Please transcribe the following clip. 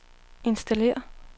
installér